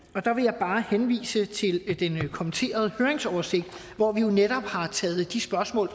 og der vil jeg bare henvise til den kommenterede høringsoversigt hvor vi jo netop har taget de spørgsmål